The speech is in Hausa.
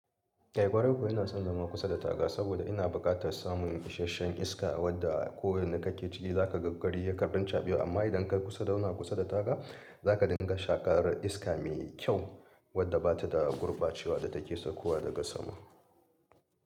Eh, ƙwarai ko ina son zama kusa da taga saboda ina buƙatar samun isasshen iska wadda ko inda kake ciki za ka ga gari ya karɓi caɓewa. Amma idan ka yi kusa da zauna kusa da taga, za ka dinga shaƙar iska mai kyau wadda ba ta da gurbacewa da take sakowa daga sama.